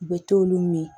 U bɛ t'olu min